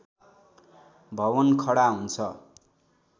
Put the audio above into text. भवन खडा हुन्छ